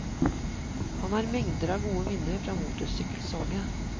Han har mengder av gode minner fra motorsykkelsalget.